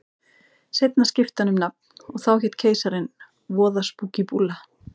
Seinna skipti hann um nafn og hét þá Keisarinn, voða spúkí búlla.